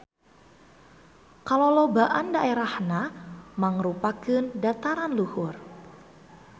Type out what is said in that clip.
Kalolobaan daerahna mangrupakeun dataran luhur.